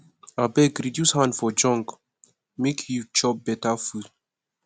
abeg reduce hand for junk make you chop beta food